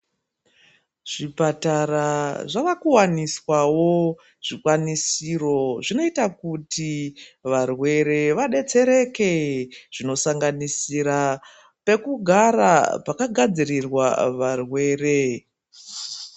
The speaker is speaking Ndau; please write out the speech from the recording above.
Zvipatara zvava kuwaniswawo zvikwanisiro zvinoita kuti varwere vadetsereke zvinosanganisira pekugara pajagadzirirwa varwere.